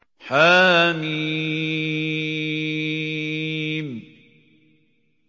حم